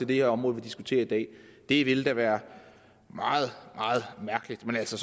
det her område vi diskuterer i dag det ville da være meget meget mærkeligt men altså